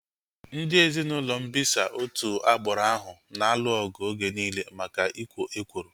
Ndị ezinaụlọ mbisa otu agbụrụ ahu na-alụ ọgụ oge nille maka ikwo ekworo